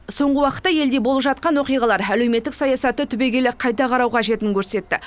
соңғы уақытта елде болып жатқан оқиғалар әлеуметтік саясатты түбегейлі қайта қарау қажетін көрсетті